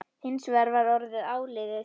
Hins vegar var orðið áliðið.